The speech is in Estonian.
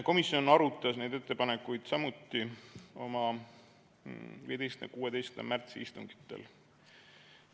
Komisjon arutas neid ettepanekuid samuti oma 15. ja 16. märtsi istungil.